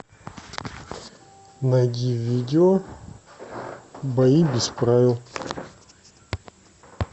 найди видео бои без правил